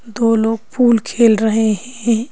दो लोग फूल खेल रहे हैं।